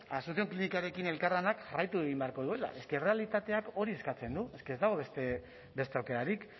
asunción klinikarekin elkarlanak jarraitu egin beharko duela es que errealitateak hori eskatzen du es que ez dago beste aukerarik